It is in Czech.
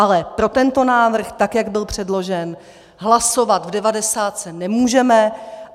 Ale pro tento návrh, tak jak byl předložen, hlasovat v devadesátce nemůžeme.